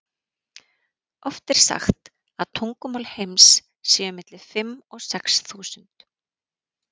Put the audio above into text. Oft er sagt að tungumál heims séu milli fimm og sex þúsund.